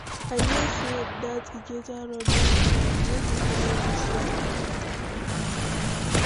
I hear sey dat Ikeja road don clear, make we follow dis one.